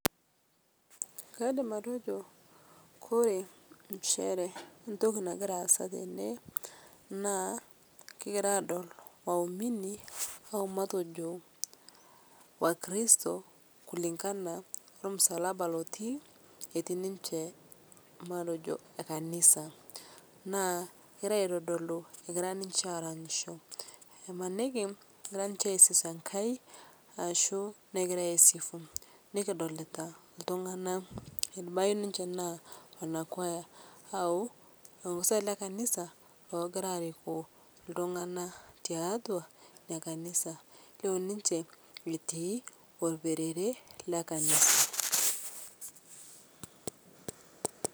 Kaidim atejo ore nchere entoki nagira aasa tene na kingira aadol maubiri wakristo kulingana ormusalaba otiierii ninche kanisa na kegira aitadolu egira ninche aseremiabo ,imaniki egira aserem ashu egira aisifunikidolta ltunganak ebaki nale kuaya au lelmosa ogira ariku kanisa na tiatua nekanisa elio ninche etii orperere le kanisa.